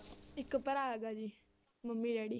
ਇੱਕ ਭਰਾ ਹੈਗਾ ਜੀ ਮੰਮੀ daddy